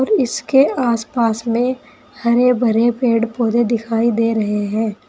इसके आसपास में हरे भरे पेड़ पौधे दिखाई दे रहे हैं।